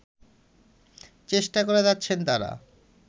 চেষ্টা করে যাচ্ছেন তারা